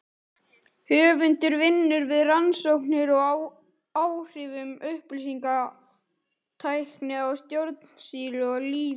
Höfundur vinnur við rannsóknir á áhrifum upplýsingatækni á stjórnsýslu og lýðræði.